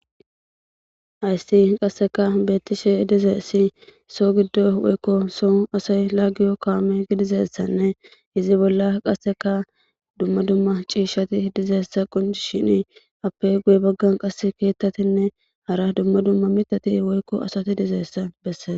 Hayssi qasseka beettishe dizeessi soo giddo woykko so asay laagiyo kaame gidizeessanne izi bolla qasseka dumma dumma ciishati dizeessa qunci shini appe guye baggan qas keettatinne hara dumma dumma mitati woykko asati dizeessa besse